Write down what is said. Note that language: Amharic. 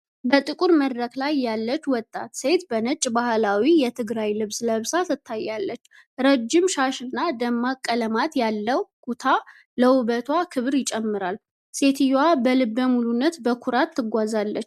በጥቁር መድረክ ላይ ያለች ወጣት ሴት በነጭ ባህላዊ የትግራይ ልብስ ለብሳ ታያለች። ረዥም ሻሽና ደማቅ ቀለማት ያለው ኩታ ለውበቷ ክብር ይጨምራል። ሴትየዋ በልበ ሙሉነትና በኩራት ትጓዛለች።